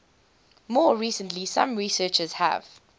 more recently some researchers have